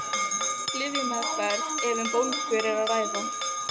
Lyfjameðferð ef um bólgur er að ræða.